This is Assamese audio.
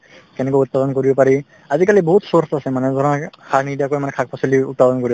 কেনেকৈ উৎপাদন কৰিব পাৰি আজিকালি বহুত source আছে মানে ধৰা সাৰ নিদিয়াকৈ মানে শাক-পাচলি উৎপাদন কৰিব